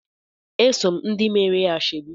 Eso m ndị meere ya ashebi.